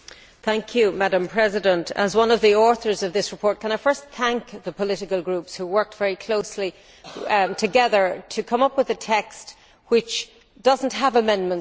Madam President, as one of the authors of this report, can I first thank the political groups, who worked very closely together to come up with a text which does not have amendments to it.